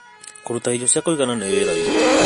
Kũruta irio cia kũigana nĩ wĩra witũ.